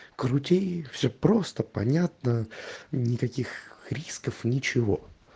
крути все просто понятно никаких рисков ничего